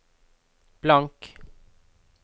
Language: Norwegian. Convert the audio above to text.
blank